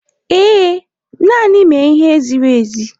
Ee, naanị mee ihe ziri ezi.